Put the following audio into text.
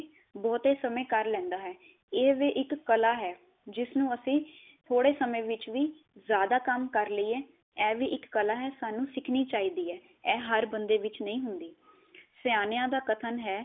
ਬਹੁਤੇ ਸਮੇ ਕਰ ਲੇੰਦਾ ਹੈ। ਇਹ ਵੀ ਇਕ ਕਲਾਂ ਹੈ ਜਿਸ ਨੂੰ ਅਸੀਂ ਥੋੜੇ ਸਮੇ ਵਿਚ ਵੀ ਜਿਆਦਾ ਕੰਮ ਕਰ ਲੀਏ ਇਹ ਵੀ ਇਕ ਕਲਾਂ ਹੈ ਸਾਨੂੰ ਸਿਖਣੀ ਚਾਹੀਦੀ ਹੈ। ਇਹ ਹਰ ਬੰਦੇ ਵਿਚ ਨਹੀ ਹੁੰਦੀ। ਸਿਆਣਿਆ ਦਾ ਕਥਨ ਹੈ